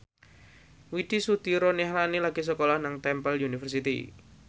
Widy Soediro Nichlany lagi sekolah nang Temple University